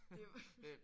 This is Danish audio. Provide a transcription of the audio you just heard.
Det er jo